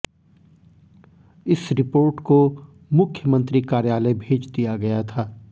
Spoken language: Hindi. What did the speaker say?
इस रिपोर्ट को मुख्यमंत्री कार्यालय भेज दिया गया था